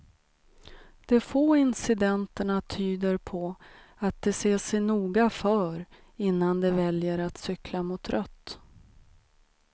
De få incidenterna tyder på att de ser sig noga för innan de väljer att cykla mot rött.